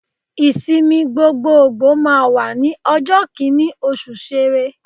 Ìsinmi gbogboògbò máa wà ní ọjọ́ Kínní oṣù Sẹrẹ.